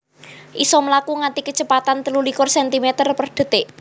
isa mlaku nganti kecepatan telu likur centimeter per detik